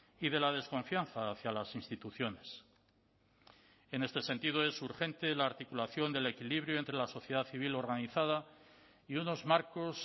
y de la desconfianza hacia las instituciones en este sentido es urgente la articulación del equilibrio entre la sociedad civil organizada y unos marcos